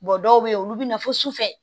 dɔw bɛ yen olu bɛ na fo sufɛ